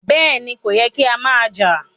Bẹ́ẹ̀ni, kò yẹ́ kí a má jà.